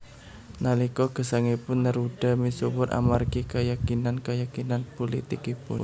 Nalika gesangipun Neruda misuwur amargi kayakinan kayakinan pulitikipun